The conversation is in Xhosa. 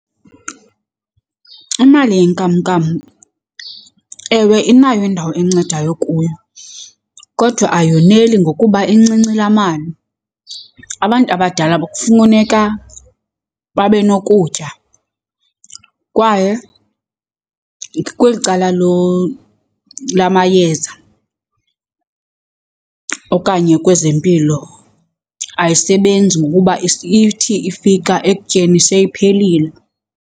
Imali yenkamnkam, ewe, inayo indawo encedayo kuyo kodwa ayoneli ngokuba incinci laa mali. Abantu abadala kufuneka babe nokutya kwaye kweli cala lamayeza okanye kwezempilo ayisebenzi ngokuba ithi ifika ekutyeni seyiphelile.